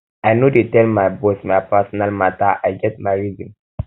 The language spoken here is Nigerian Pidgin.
i no dey no dey tell my boss my personal um mata i get um my reason